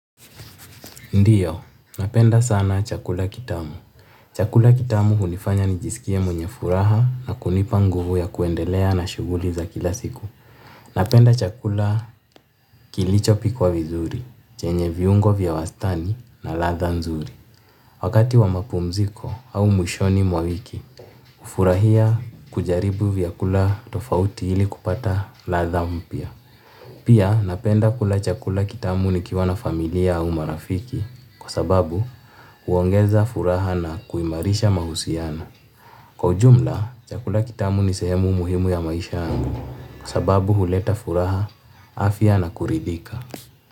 Ndiyo, napenda sana chakula kitamu. Chakula kitamu hunifanya nijisikie mwenye furaha na kunipa nguvu ya kuendelea na shughuli za kila siku. Napenda chakula kilichopikwa vizuri, chenye viungo vya wastani na ladha nzuri. Wakati wa mapumziko au mwishoni mwa wiki, hufurahia kujaribu vyakula tofauti ili kupata ladha mpya. Pia napenda kula chakula kitamu nikiwa na familia au marafiki kwa sababu huongeza furaha na kuimarisha mahusiano. Kwa ujumla, chakula kitamu ni sehemu ya maisha yangu kwa sababu huleta furaha afya na kurithika.